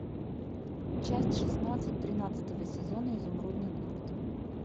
часть шестнадцать тринадцатого сезона изумрудный город